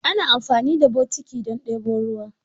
Ana amfani da botiki don ɗebo ruwa.